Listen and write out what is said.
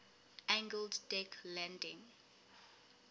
angled deck landing